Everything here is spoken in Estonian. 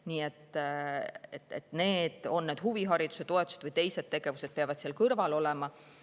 Nii et teised tegevused, on need huvihariduse toetused või midagi muud, peavad seal kõrval olema.